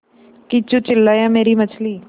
किच्चू चिल्लाया मेरी मछली